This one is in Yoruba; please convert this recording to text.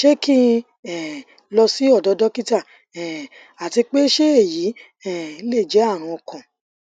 se ki um n lo si odo dokita um ati pe se eyi um le je arun okan